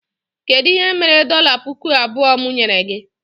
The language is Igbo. Kedụ ihe mere dọla pụkụ abụọ mụ nyere gị?